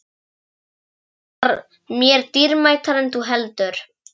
Hann var mér dýrmætari en þú heldur.